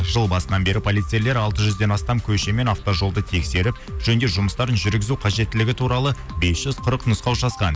жыл басынан бері полицейлер алты жүзден астам көше мен автожолды тексеріп жөндеу жұмыстарын жүргізу қажеттілігі туралы бес жүз қырық нұсқау жазған